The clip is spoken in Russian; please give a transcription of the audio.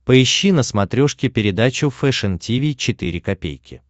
поищи на смотрешке передачу фэшн ти ви четыре ка